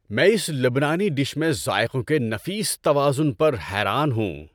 میں اس لبنانی ڈش میں ذائقوں کے نفیس توازن پر حیران ہوں۔